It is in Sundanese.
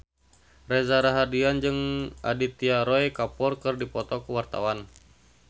Reza Rahardian jeung Aditya Roy Kapoor keur dipoto ku wartawan